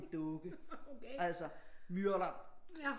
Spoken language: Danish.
Dukke altså myrder den